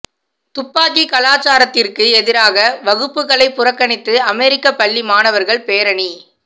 துப்பாக்கிக் கலாச்சாரத்திற்கு எதிராக வகுப்புகளை புறக்கணித்து அமெரிக்க பள்ளி மாணவர்கள் பேரணி